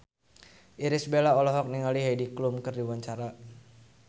Irish Bella olohok ningali Heidi Klum keur diwawancara